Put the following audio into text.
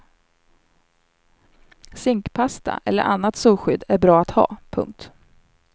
Zinkpasta eller annat solskydd är bra att ha. punkt